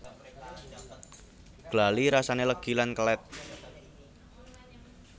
Glali rasane legi lan kelet